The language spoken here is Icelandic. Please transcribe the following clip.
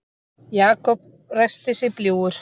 Jakob ræskti sig bljúgur.